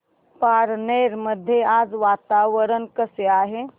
पारनेर मध्ये आज वातावरण कसे आहे